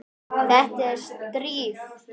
Þetta er stríð!